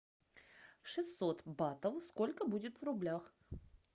шестьсот батов сколько будет в рублях